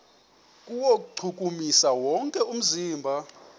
kuwuchukumisa wonke umzimba